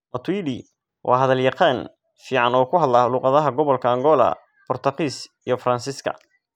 Matuidi waa hadal yaqaan fiican oo ku hadla luqadaha gobolka Angola, Boortaqiis, iyo Faransiiska.